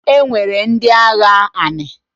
E nwere ndị agha anị.